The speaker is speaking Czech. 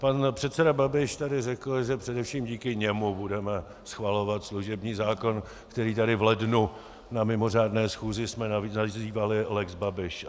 Pan předseda Babiš tady řekl, že především díky němu budeme schvalovat služební zákon, který tady v lednu na mimořádné schůzi jsme nazývali lex Babiš.